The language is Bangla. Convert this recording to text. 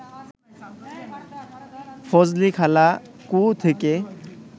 ফজলিখালা কুয়ো থেকে